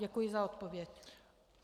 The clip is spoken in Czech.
Děkuji za odpověď.